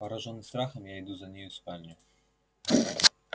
поражённый страхом я иду за нею в спальню